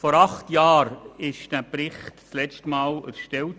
Vor acht Jahren wurde dieser Bericht letztmals erstellt.